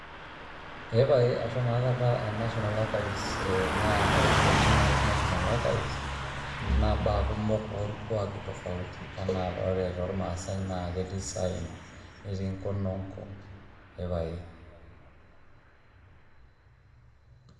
Epae ashomo akata national archives, na ore oshi ntokitin nati national archives na mbaa kumok olkuaki tofauti, ena ore tolmasae na ketii isaen neti kononko, ee pae